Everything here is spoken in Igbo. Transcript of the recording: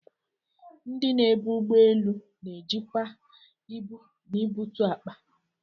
Ndị na-ebu ụgbọ elu na-ejikwa ibu na ibutu akpa.